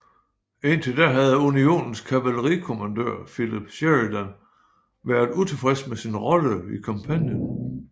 Indtil da havde Unionens kavaleri kommandør Philip Sheridan været utilfreds med sin rolle i kampagnen